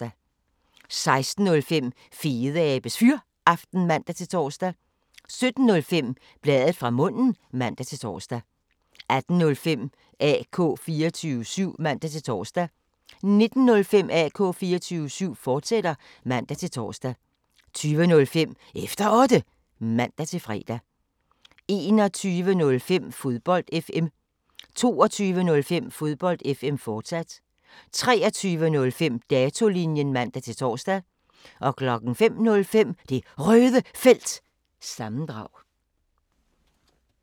16:05: Fedeabes Fyraften (man-tor) 17:05: Bladet fra munden (man-tor) 18:05: AK 24syv (man-tor) 19:05: AK 24syv, fortsat (man-tor) 20:05: Efter Otte (man-fre) 21:05: Fodbold FM 22:05: Fodbold FM, fortsat 23:05: Datolinjen (man-tor) 05:05: Det Røde Felt – sammendrag